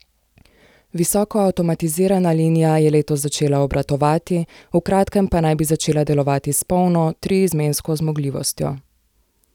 Visoko avtomatizirana linija je letos začela obratovati, v kratkem pa naj bi začela delovati s polno, triizmensko zmogljivostjo.